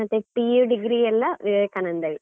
ಮತ್ತೆ, PU degree ಎಲ್ಲ ವಿವೇಕಾನಂದವೆ.